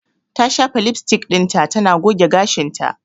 Ta shafa lipstick dinta tana goge gashinta.